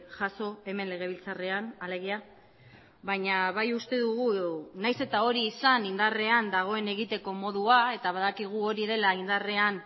jaso hemen legebiltzarrean alegia baina bai uste dugu nahiz eta hori izan indarrean dagoen egiteko modua eta badakigu hori dela indarrean